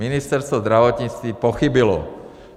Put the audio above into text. Ministerstvo zdravotnictví pochybilo.